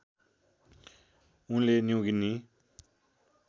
उनले न्यु गिनी